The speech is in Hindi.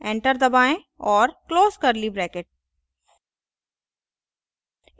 enter दबाएँ और close curly bracket